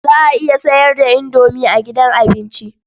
Za a iya sayar da indomi a gidan abinci.